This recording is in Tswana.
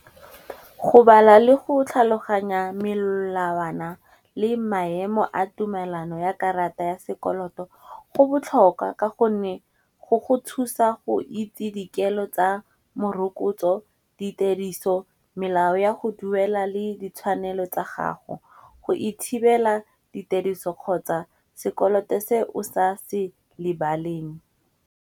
Go bala le go tlhaloganya melawana le maemo a tumelano ya karata ya sekoloto, go botlhokwa ka gonne go thusa go itse dikelo tsa morokotso, ditediso, melao ya go duela le ditshwanelo tsa gago, go itshebela ditediso kgotsa sekoloto se o sa se lebaleng.